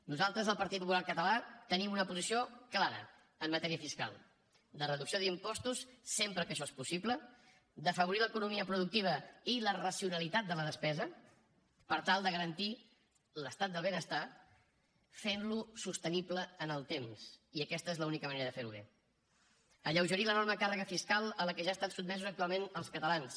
nosaltres el partit popular català tenim una posició clara en matèria fiscal de reducció d’impostos sempre que això és possible d’afavorir l’economia productiva i la racionalitat de la despesa per tal de garantir l’estat del benestar fentlo sostenible en el temps i aquesta és l’única manera de ferho bé alleugerir l’enorme càrrega fiscal a què estan sotmesos actualment els catalans